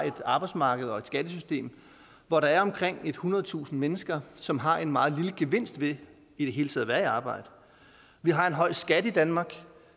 et arbejdsmarked og et skattesystem hvor der er omkring ethundredetusind mennesker som har en meget lille gevinst ved i det hele taget at være i arbejde vi har en høj skat i danmark